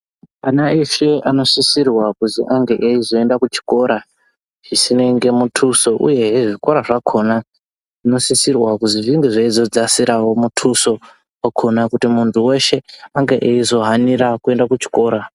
Ana eshe anosisirwa kuzi ange eizoenda kuchikora zvisinenge muthuso. Uye zvikora zvakhona zvinosisirwa kuti zvinge zveizodzasirawo muthuso wakhona kuti muntu weshe ange eizohanira kuenda kuchikora.